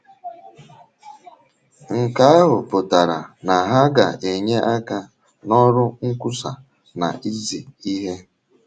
Nke ahụ pụtara na ha ga - enye aka n’ọrụ nkwusa na izi ihe.